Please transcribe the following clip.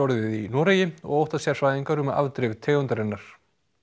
í Noregi og óttast sérfræðingar um afdrif tegundarinnar